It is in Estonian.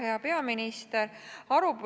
Hea peaminister!